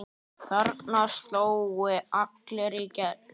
Þarna slógu allir í gegn.